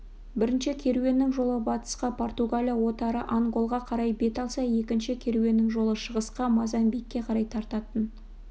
бірінші керуеннің жолы батысқа португалия отары анголға қарай бет алса екінші керуеннің жолы шығысқа мозамбикке қарай тартатын